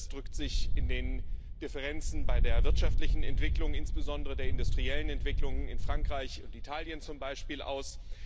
Das drückt sich in den Differenzen bei der wirtschaftlichen Entwicklung, insbesondere der industriellen Entwicklung in Frankreich und Italien zum Beispiel, aus.